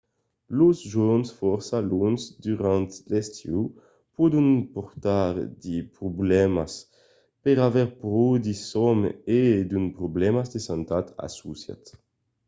los jorns fòrça longs durant l’estiu pòdon portar de problèmas per aver pro de sòm e d’unes problèmas de santat associats